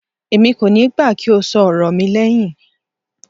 Èmi kò níí gbà kí o ṣọ ọ̀rọ̀ mi lẹhin.